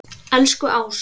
Elsku Ása.